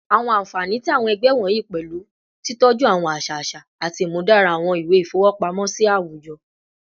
Awọn anfani ti awọn ẹgbẹ wọnyi pẹlu titọju awọn aṣa aṣa ati imudara awọn iwe ifowopamosi awujọ